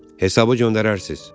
Hesabı o göndərərsiz?